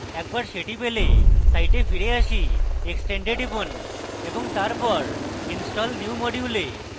একবার সেটি পেলে site ফিরে আসি extend we টিপুন এবং তারপর install new module we